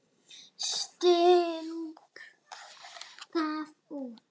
Sting gaf út.